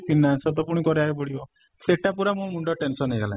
finance ର ତ ପୁଣି କରିବାକୁ ପଡିବ ସେଟା ପୁରା ମୋ ମୁଣ୍ଡ tension ଗଲାଣି